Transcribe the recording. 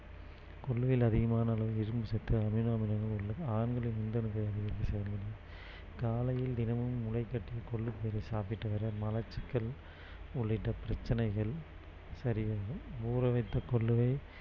கொள்ளுவில் அதிகமான அளவு இரும்பு சத்து amino அமிலங்கள் உள்ளது ஆண்களின் விந்தணுக்களைஅதிகரிக்க செய்வதுடன் காலையில் தினமும் முளை கட்டிய கொள்ளு பயிறை சாப்பிட்டு வர மலச்சிக்கல் உள்ளிட்ட பிரச்சனைகள் சரியாகும் ஊற வைத்த கொள்ளுவை